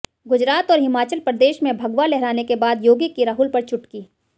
गुजरात और हिमाचल प्रदेश में भगवा लहराने के बाद योगी की राहुल पर चुटकी